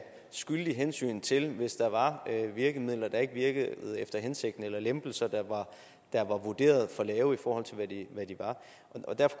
skyldige hensyn til hvis der var virkemidler der ikke virkede efter hensigten eller lempelser der var vurderet for lave i forhold til hvad de